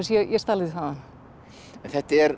ég stal því þaðan þetta er